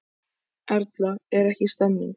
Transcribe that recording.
Erla, er ekki stemning?